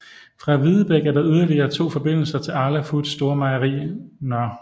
Fra Videbæk er der yderligere forbindelser til Arla Foods store mejeri Nr